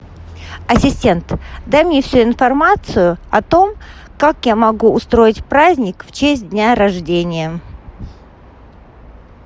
ассистент дай мне всю информацию о том как я могу устроить праздник в честь дня рождения